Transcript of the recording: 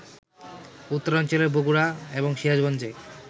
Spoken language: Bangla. উত্তরাঞ্চলের বগুড়া এবং সিরাজগঞ্জে